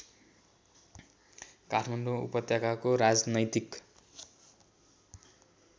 काठमाडौँ उपत्यकाको राजनैतिक